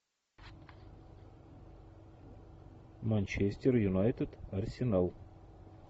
манчестер юнайтед арсенал